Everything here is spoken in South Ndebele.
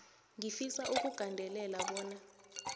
ngifisa ukugandelela bona